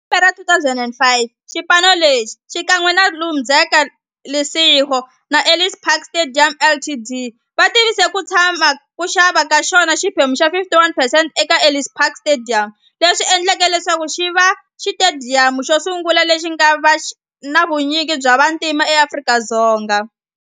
Hi lembe ra 2005, xipano lexi, xikan'we na Interza Lesego na Ellis Park Stadium Ltd, va tivise ku xava ka xona xiphemu xa 51percent eka Ellis Park Stadium, leswi endleke leswaku xiva xitediyamu xosungula lexi nga na vunyingi bya vantima e Afrika-Dzonga.